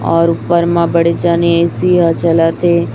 और ऊपर मां बड़े जाने ए_सी यहां चलत है।